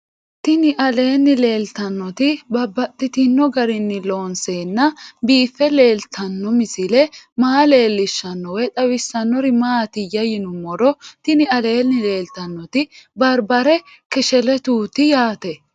Tinni aleenni leelittannotti babaxxittinno garinni loonseenna biiffe leelittanno misile maa leelishshanno woy xawisannori maattiya yinummoro tinni aleenni leelittannotti baribare kesheletuutti yaatte